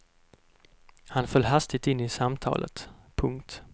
Han föll hastigt in i samtalet. punkt